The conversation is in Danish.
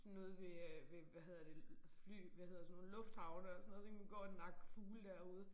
Sådan ude ved øh ved hvad hedder det fly hvad hedder sådan nogle lufthavne og sådan noget så kan man gå og nakke fugle derude